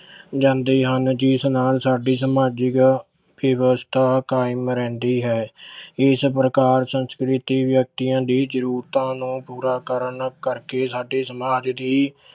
ਜਾਂਦੇ ਹਨ ਜਿਸ ਨਾਲ ਸਾਡੀ ਸਮਾਜਿਕ ਵਿਵਸਥਾ ਕਾਇਮ ਰਹਿੰਦੀ ਹੈ ਇਸ ਪ੍ਰਕਾਰ ਸੰਸਕ੍ਰਿਤੀ ਵਿਅਕਤੀਆਂ ਦੀ ਜ਼ਰੂਰਤਾਂ ਨੂੰ ਪੂਰਾ ਕਰਨ ਕਰਕੇ ਸਾਡੇ ਸਮਾਜ ਦੀ